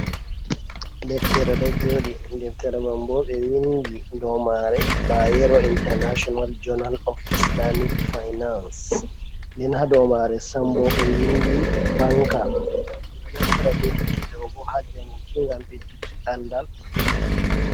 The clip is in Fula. Deftere ɗo jooɗi, ideftere man boo ɓe windi dou mare, bayero intanashinal jonal of islamic fainas nden ha dou mare, sambo ɓe windi banka, bedo naftira be deftere ɗobo ha jaguki ngam bedduki andal.